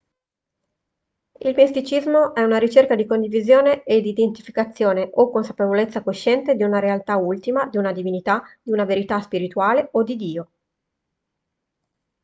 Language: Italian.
il misticismo è una ricerca di condivisione ed identificazione o consapevolezza cosciente di una realtà ultima di una divinità di una verità spirituale o di dio